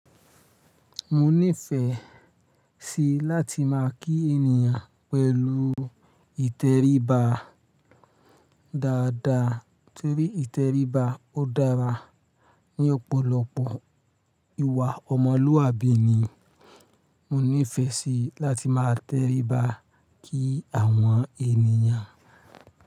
Mo nífẹ̀ẹ́ sí láti máa kí ènìyàn pẹ̀lú ìtẹríba dáadáa torí ìtẹríba ó dára ní ọ̀pọ̀lọpọ̀ ìwà ọmọlúwàbí ni. Mo nífẹ̀ẹ́ sí láti máa tẹríba kí àwọn ènìyàn.